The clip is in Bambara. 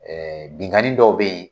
binkani dɔw bɛ ye